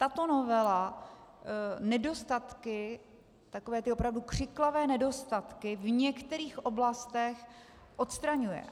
Tato novela nedostatky, takové ty opravdu křiklavé nedostatky v některých oblastech odstraňuje.